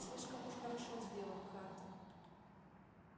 слишком уж хорошо сделан хардин